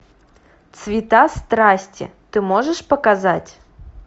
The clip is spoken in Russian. цвета страсти ты можешь показать